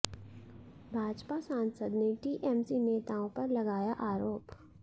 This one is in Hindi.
भाजपा सांसद ने टीएमसी नेताओं पर लगाया आरोप